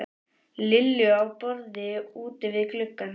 Lillu á borð úti við gluggann.